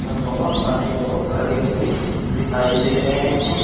पर बहोत सारे लोग खड़े हुए दिखाई दे रहें हैं।